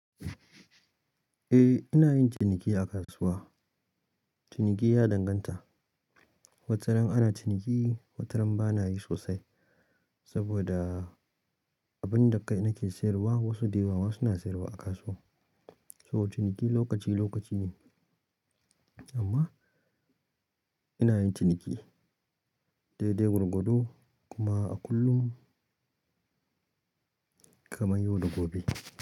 Eh ina yin ciniki a kasuwa, ciniki ya danganta, wataran ana ciniki wataran ba na yi sosai. Saboda abin da kai nake siyarwa wasu dayawa ma suna siyarwa a kasuwa saboda ciniki lokaci lokaci ne amma ina yin ciniki dai dai gwargwado kuma a kullum kamar yau da gobe.